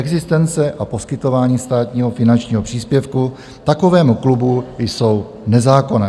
Existence a poskytování státního finančního příspěvku takovému klubu jsou nezákonné.